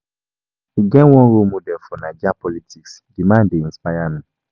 E get one role model for Naija politics, di man dey inspire me.